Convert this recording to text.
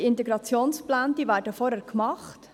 Die Integrationspläne werden vorher gemacht.